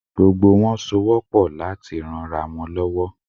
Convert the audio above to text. Gbogbo wọn sowọ́ pọ̀ láti ranra wọn lọ́wọ́.